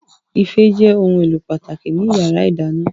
Ife jẹ́ ohun èlò pàtàkì ní yàrá ìdáná